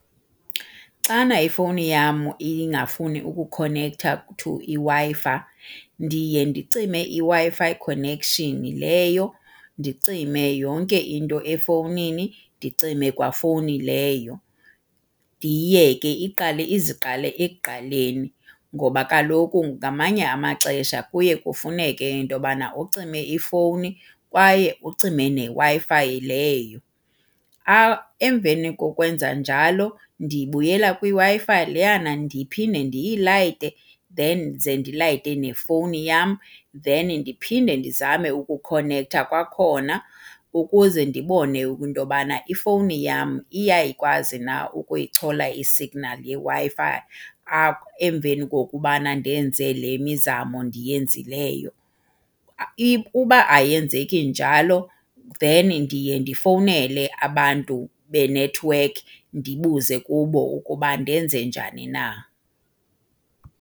Xana ifowuni yam ingafuni ukukhonektha to iWi-Fi ndiye ndicime iWi-Fi connection leyo, ndicime yonke into efowunini, ndicime kwa fowuni leyo. Ndiyiyeke iqale iziqale ekuqaleni ngoba kaloku ngamanye amaxesha kuye kufuneke into yobana ucime ifowuni kwaye ucime neWi-Fi leyo. Emveni kokwenza njalo ndibuyela kwiWi-Fi leyana ndiphinde ndiyilayite then ze ndilayite nefowuni yam then ndiphinde ndizame ukukhonektha kwakhona ukuze ndibone into yobana ifowuni yam iyayikwazi na ukuyichola isignali yeWi-Fi emveni kokubana ndenze le mizamo ndiyenzileyo. Uba ayenzeki njalo then ndiye ndifowunele abantu benethiwekhi ndibuze kubo ukuba ndenze njani na.